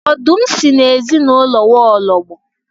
Ọdụm si na ezinụlọ nwaọlọgbọ